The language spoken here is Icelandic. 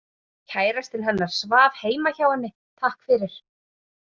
Kærastinn hennar svaf heima hjá henni, takk fyrir